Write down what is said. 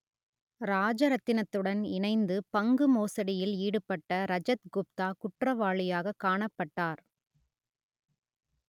ராஜரத்தினத்துடன் இணைந்து பங்கு மோசடியில் ஈடுபட்ட ரஜத் குப்தா குற்றவாளியாகக் காணப்பட்டார்